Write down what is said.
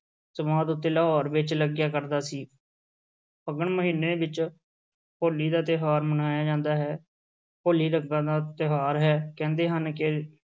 ਸਮਾਧ ਉੱਤੇ, ਲਾਹੌਰ ਵਿੱਚ ਲੱਗਿਆ ਕਰਦਾ ਸੀ ਫੱਗਣ ਮਹੀਨੇ ਵਿੱਚ ਹੋਲੀ ਦਾ ਤਿਉਹਾਰ ਮਨਾਇਆ ਜਾਂਦਾ ਹੈ, ਹੋਲੀ ਰੰਗਾਂ ਦਾ ਤਿਉਹਾਰ ਹੈ, ਕਹਿੰਦੇ ਹਨ ਕਿ